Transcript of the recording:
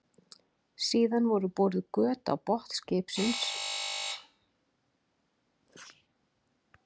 Síðan voru boruð göt á botn skipsins og lágu strengir upp í vélarrúm.